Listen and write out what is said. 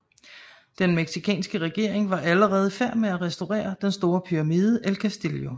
Den mexicanske regering var allerede i færd med at restaurere den store pyramide el Castillo